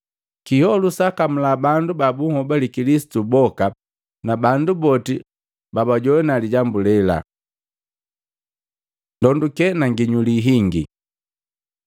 Kiholu kilikamula bandu ba bunhobale Kilisitu boka na bandu boti babajowana lijambu lela. Ndonduke na nginyuli hingi